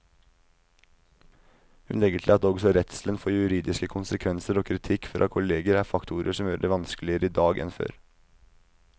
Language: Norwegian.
Hun legger til at også redselen for juridiske konsekvenser og kritikk fra kolleger er faktorer som gjør det vanskeligere i dag enn før.